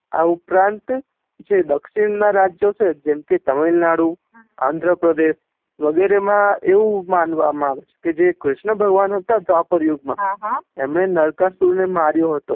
આ ઉપરાંત જે દક્ષીણ ના રાજ્યો છે જેમ કે તમિલનાડુ આંધેર્પ્રદેશ વગેરે મા આવું મનવા મા આવે છે કે જે કૃષ્ણ ભગવાન હતા ધવાપર યુગ મા એમને નાર્કાસુર ને મારિયો હતો